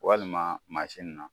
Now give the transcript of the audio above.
Walima mansin na